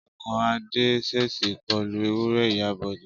Ọkọ̀ Adé ṣèṣì kọlu ewúré ìyá Bọ̀dé